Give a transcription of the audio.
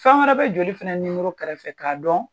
Fɛn wɛrɛ bɛ joli fana nimoro kɛrɛfɛ k'a dɔn.